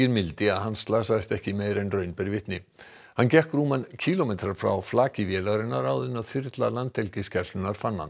mildi að hann slasaðist ekki meira en raun ber vitni hann gekk rúman kílómetra frá flaki vélarinnar áður en þyrla Landhelgisgæslunnar fann hann